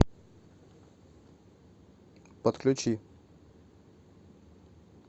подключи